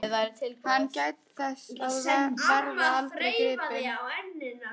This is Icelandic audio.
Hann gæti þess að verða aldrei gripinn.